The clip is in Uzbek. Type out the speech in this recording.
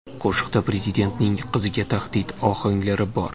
Qo‘shiqda prezidentning qiziga tahdid ohanglari bor.